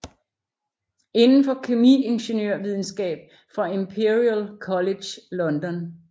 Inden for kemiingeniørvidenskab fra Imperial College London